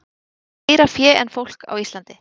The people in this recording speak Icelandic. Fleira fé en fólk á Íslandi